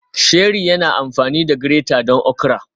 Sheri yana amfani da grater don okra